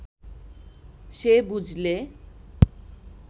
সে বুঝলে